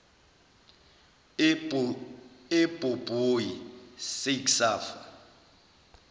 ebhobhoyi sake safa